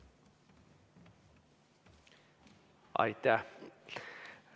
Aitäh!